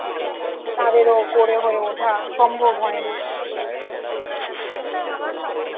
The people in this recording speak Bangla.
তাদেরও করে হয়ে ওঠা সম্ভব হয় না